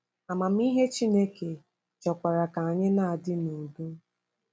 Amamihe Chineke chọkwara ka anyị na-adị n’udo.